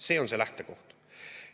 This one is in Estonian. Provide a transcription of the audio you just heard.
See on see lähtekoht.